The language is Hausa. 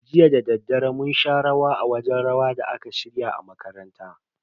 Jiya dadaddare mun sha rawa a wajen rawa da aka shirya a makaranta.